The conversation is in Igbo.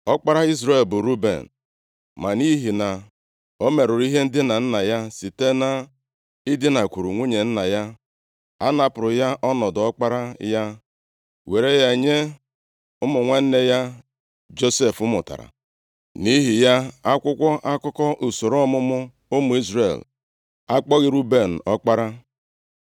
Ọkpara Izrel bụ Ruben. Ma nʼihi na ọ merụrụ ihe ndina nna ya site na idinakwuru nwunye nna ya, a napụrụ ya ọnọdụ ọkpara ya were ya nye ụmụ nwanne ya Josef mụtara. Nʼihi ya, akwụkwọ akụkọ usoro ọmụmụ ụmụ Izrel akpọghị Ruben ọkpara.